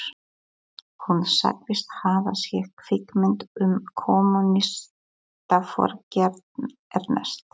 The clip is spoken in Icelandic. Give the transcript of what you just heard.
Hún sagðist hafa séð kvikmynd um kommúnistaforingjann Ernst